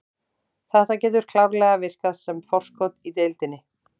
Þetta getur klárlega virkað sem forskot í deildinni.